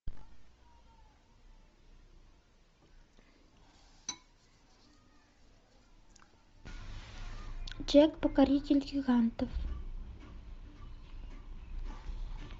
джек покоритель гигантов